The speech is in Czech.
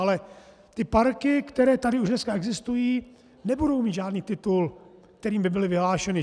Ale ty parky, které tady už dneska existují, nebudou mít žádný titul, kterým by byly vyhlášeny.